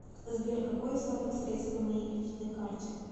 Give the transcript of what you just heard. сбер какой остаток средств на моей кредитной карте